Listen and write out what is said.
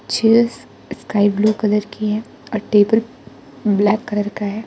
Chess sky blue colour की है और टेबल ब्लैक कलर का है।